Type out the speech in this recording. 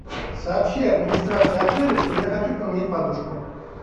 сообщи администрации отеля что я хочу поменять подушку